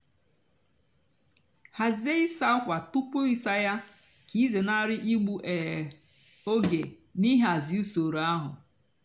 hàzie ịsá ákwa túpú ịsá yá kà ịzénárị ígbu um ógè nà ịhazi usoro áhụ.